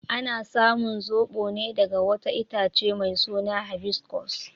Ana samun zobo ne daga wata itace mai suna habiscus.